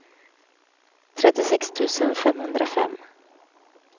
trettiosex tusen femhundrafem